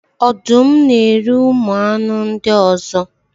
ọdụm na-eri ụmụ anụ ndị ọzọ.